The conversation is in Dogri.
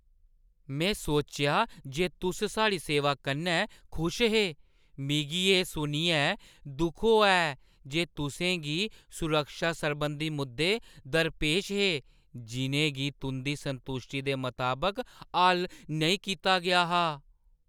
मैं सोचेआ जे तुस साढ़ी सेवा कन्नै खुश हे। मिगी एह् सुनियै दुख होआ ऐ जे तुसें गी सुरक्षा सरबंधी मुद्दे दरपेश हे जिʼनें गी तुंʼदी संतुश्टी दे मताबक हल नेईं कीता गेआ हा।